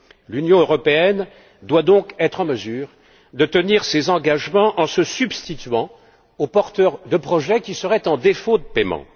L'Union européenne doit donc être en mesure de tenir ses engagements en se substituant aux porteurs de projets qui seraient en défaut de paiement.